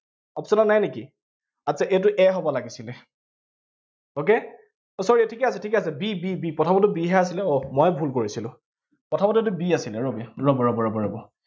option ত নাই নেকি? আচ্ছা এইটো a হব লাগিছিলে okay আহ sorry ঠিকেই আছে, ঠিকেই b b b প্ৰথমৰটো b হে আছিলে আহ ময়ে ভুল কৰিছিলো, প্ৰথমতে এইটো b আছিলে, ৰবি, ৰব ৰব ৰব ৰব